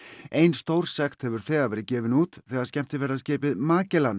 ein stór sekt hefur þegar verið gefin út þegar skemmtiferðaskipið